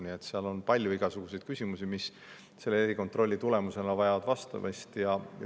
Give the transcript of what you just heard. Nii et seal on palju igasuguseid küsimusi, mis pärast seda erikontrolli vajavad vastamist.